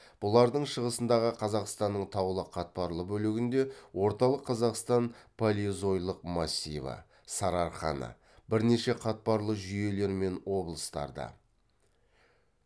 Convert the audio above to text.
бұлардың шығысындағы қазақстанның таулы қатпарлы бөлігінде орталық қазақстан палеозойлық массиві сарыарқаны бірнеше қатпарлы жүйелер мен облыстарды